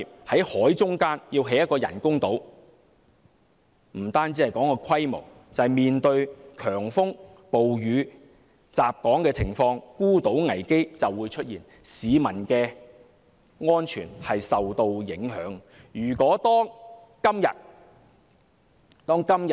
在海中央興建人工島，即使不談人工島的規模，單單在面對強風、暴雨襲港時，孤島危機也會出現，市民的安全受到影響。